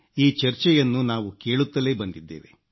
ಈ ಚರ್ಚೆಯನ್ನು ನಾವು ಕೇಳುತ್ತಲೇ ಬಂದಿದ್ದೇವೆ